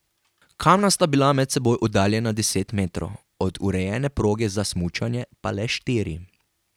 Kamna sta bila med seboj oddaljena deset metrov, od urejene proge za smučanje pa le štiri.